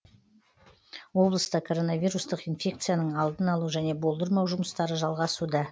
облыста коронавирустық инфекцияның алдын алу және болдырмау жұмыстары жалғасуда